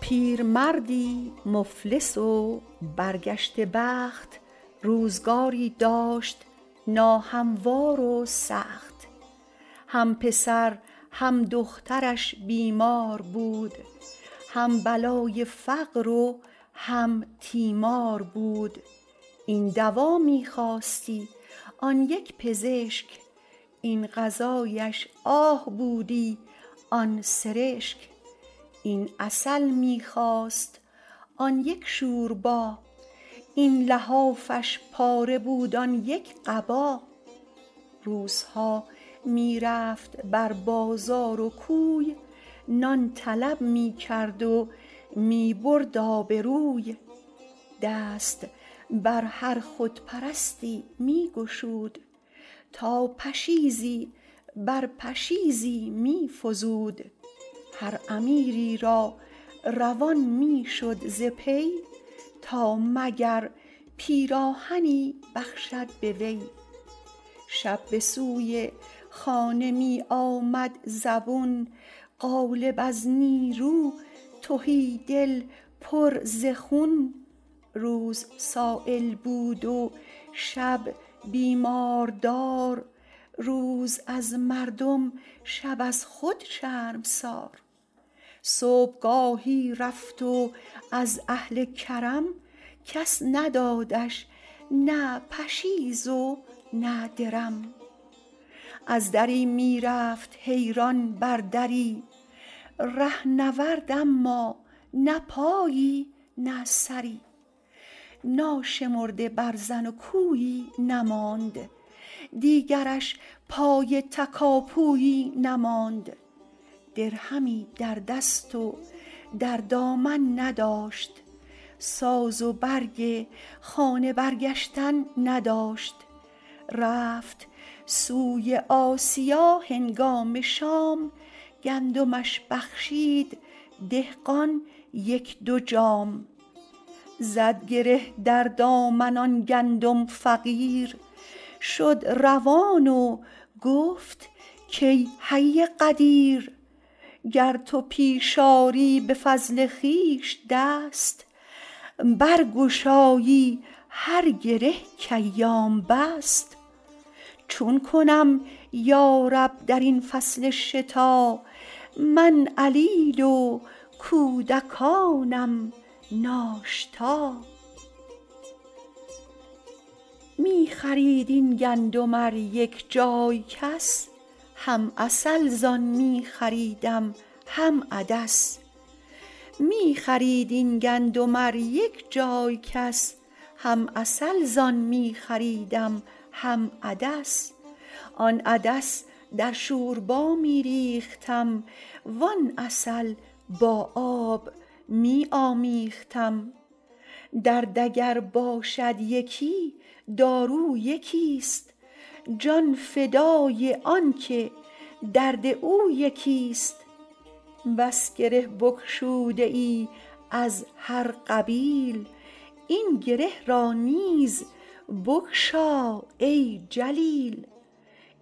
پیرمردی مفلس و برگشته بخت روزگاری داشت ناهموار و سخت هم پسر هم دخترش بیمار بود هم بلای فقر و هم تیمار بود این دوا می خواستی آن یک پزشک این غذایش آه بودی آن سرشک این عسل می خواست آن یک شوربا این لحافش پاره بود آن یک قبا روزها می رفت بر بازار و کوی نان طلب می کرد و می برد آبروی دست بر هر خودپرستی می گشود تا پشیزی بر پشیزی می فزود هر امیری را روان می شد ز پی تا مگر پیراهنی بخشد به وی شب به سوی خانه می آمد زبون قالب از نیرو تهی دل پر ز خون روز سایل بود و شب بیماردار روز از مردم شب از خود شرمسار صبحگاهی رفت و از اهل کرم کس ندادش نه پشیز و نه درم از دری می رفت حیران بر دری رهنورد اما نه پایی نه سری ناشمرده برزن و کویی نماند دیگرش پای تکاپویی نماند درهمی در دست و در دامن نداشت ساز و برگ خانه برگشتن نداشت رفت سوی آسیا هنگام شام گندمش بخشید دهقان یک دو جام زد گره در دامن آن گندم فقیر شد روان و گفت که ای حی قدیر گر تو پیش آری به فضل خویش دست برگشایی هر گره که ایام بست چون کنم یارب در این فصل شتا من علیل و کودکانم ناشتا می خرید این گندم ار یک جای کس هم عسل زان می خریدم هم عدس آن عدس در شوربا می ریختم وان عسل با آب می آمیختم درد اگر باشد یکی دارو یکی ست جان فدای آن که درد او یکی ست بس گره بگشوده ای از هر قبیل این گره را نیز بگشا ای جلیل